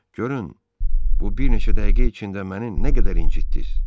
Görün bu bir neçə dəqiqə içində məni nə qədər incitdiz?